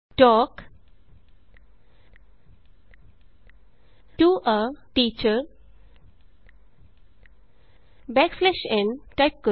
talk to a teacher backslash n type ਕਰੋ